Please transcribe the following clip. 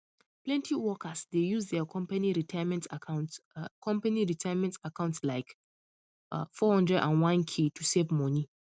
plenty workers dey use their company retirement accounts company retirement accounts lile 401k to save money